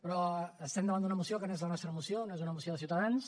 però estem davant d’una moció que no és la nostra moció no és una moció de ciutadans